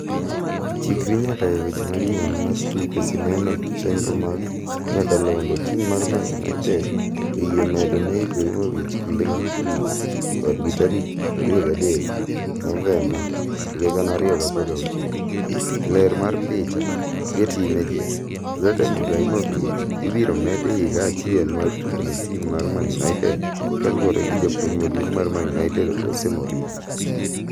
Chikri nyaka e weche manyien mar tuke sinema chenro mag nyakalondo Tim mar Man United oyie medo ne Ibrahimovic kinde mag tugo kodgi tarik 23 Nov 2016. Ler mar picha , Getty Images . Zlatan Ibrahimovic ibiro med higa achiel mar tugo ne tim mar Man United kaluore gi japuonj maduong' mar Man United, Jose Mourinho.